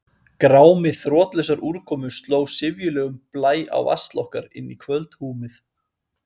Grámi þrotlausrar úrkomu sló syfjulegum blæ á vasl okkar inní kvöldhúmið.